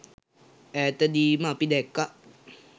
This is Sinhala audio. ඈතදීම අපි දැක්කා